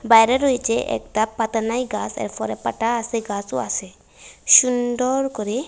বাইরে রয়েছে একটা পাতা নাই গাছ এরপরে পাতা আছে গাছও আছে সুন্দর করে।